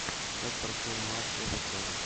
как прошел матч эвертон